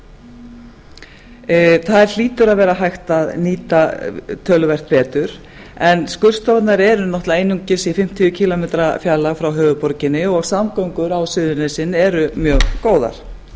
ber vitni þær hlýtur að vera hægt að nýta töluvert betur en skurðstofurnar eru náttúrlega einungis í fimmtíu kílómetra fjarlægð frá höfuðborginni og samgöngur á suðurnesjum eru mjög góðar